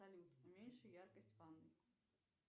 салют уменьши яркость в ванной